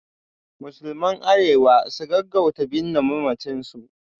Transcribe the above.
Musulman Arewa su gaggauta binne mamacin su